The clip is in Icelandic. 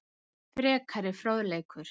Frekari fróðleikur